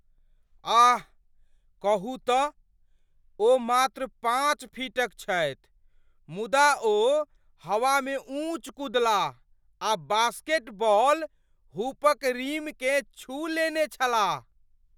आह, कहू तँ, ओ मात्र पाँच फीटक छथि मुदा ओ हवामे ऊँच कूदलाह आ बास्केटबॉल हुपक रिमकेँ छू लेने छलाह।